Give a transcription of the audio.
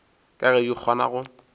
ka ge di kgona go